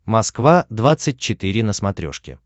москва двадцать четыре на смотрешке